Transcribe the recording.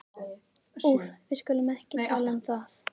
Úff, við skulum ekki tala um það.